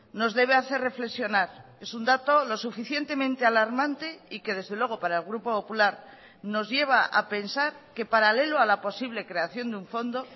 nos debe hacer reflexionar es un dato lo suficientemente alarmante y que desde luego para el grupo popular nos lleva a pensar que paralelo a la posible creación de un fondo